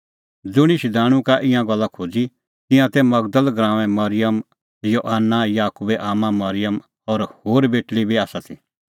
ज़ुंणी शधाणूं का ईंयां गल्ला खोज़ी तिंयां ती मगदल़ गराऊंए मरिअम योआना याकूबे आम्मां मरिअम और होर बेटल़ी बी आसा ती